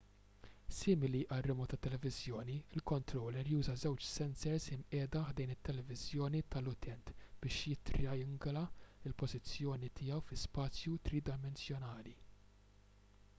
simili għal remowt tat-televiżjoni il-kontrollur juża żewġ sensers imqiegħda ħdejn it-televiżjoni tal-utent biex jittrijangula l-pożizzjoni tiegħu fi spazju tridimensjonali